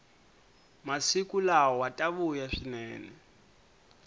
masiku lawa ta vuya swinene